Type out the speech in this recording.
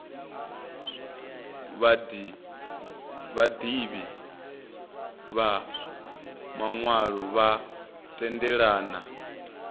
vhaḓivhi vha maṅwalo vha tendelana